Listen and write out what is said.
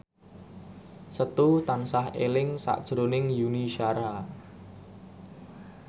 Setu tansah eling sakjroning Yuni Shara